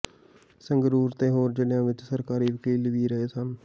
ਸੰਗਰੂਰ ਤੇ ਹੋਰ ਜਿਲ੍ਹਿਆਂ ਵਿੱਚ ਸਰਕਾਰੀ ਵਕੀਲ ਵੀ ਰਹੇ ਸਨ